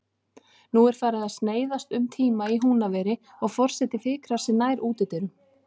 Nú er farið að sneiðast um tíma í Húnaveri og forseti fikrar sig nær útidyrum.